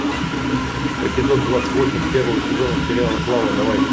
эпизод двадцать восемь первого сезона сериала клава давай